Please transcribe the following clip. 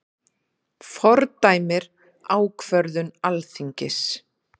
Fordæmir ákvörðun Alþingis